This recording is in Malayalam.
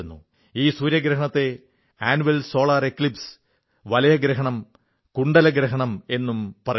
ഈ സൂര്യഗ്രഹണം അന്നുലർ സോളാർ എക്ലിപ്സ് വലയഗ്രഹണം കുണ്ഡലഗ്രഹണം എന്നും അറിയപ്പെടുന്നു